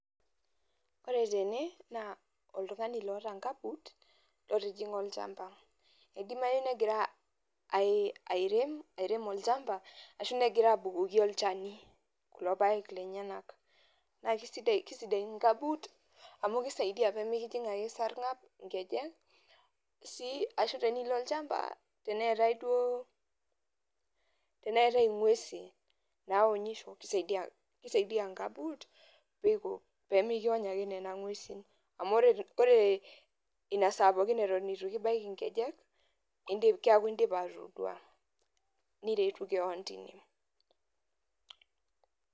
Ore tene, naa oltung'ani loota nkabut lotijing'a olchamba. Idimayu negira airem airem olchamba, ashu negira abukoki olchani kulo paek lenyanak. Na kisidain inkabut amu kisaidia pimikijing' ake esarng'ab inkejek, si ashu tenilo olchamba teneetae duo teneetae ing'uesin naonyisho kisaidia kisaidia gabut miko pemikiony ake nena ng'uesin. Amu ore inasaa pookin eton itu kibaiki nkejek, keeku dipa atodua. Niretu keon tine.